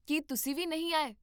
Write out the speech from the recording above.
ਕੀ ਤੁਸੀਂ ਵੀ ਨਹੀਂ ਆਏ?